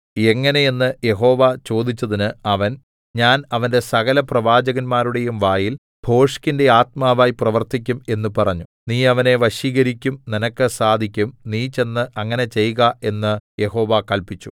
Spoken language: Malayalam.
എങ്ങനെ എന്ന് യഹോവ ചോദിച്ചതിന് അവൻ ഞാൻ അവന്റെ സകലപ്രവാചകന്മാരുടെയും വായിൽ ഭോഷ്കിന്റെ ആത്മാവായി പ്രവർത്തിക്കും എന്ന് പറഞ്ഞു നീ അവനെ വശീകരിക്കും നിനക്ക് സാധിക്കും നീ ചെന്ന് അങ്ങനെ ചെയ്ക എന്ന് യഹോവ കല്പിച്ചു